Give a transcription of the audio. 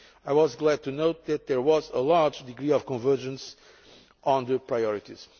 I was glad to note that there was a large degree of convergence on the priorities.